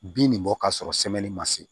Bin nin bɔ ka sɔrɔ ma se